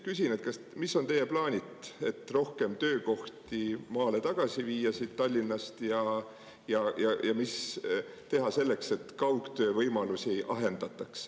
Küsin, mis on teie plaanid, et rohkem töökohti maale tagasi viia siit Tallinnast ja mis teha selleks, et kaugtöö võimalusi ei ahendataks.